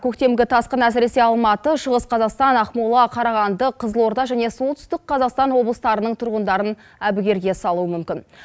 көктемгі тасқын әсіресе алматы шығыс қазақстан ақмола қарағанды қызылорда және солтүстік қазақстан облыстарының тұрғындарын әбігерге салуы мүмкін